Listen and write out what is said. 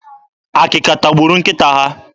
Akịka tagburu nkịta ha.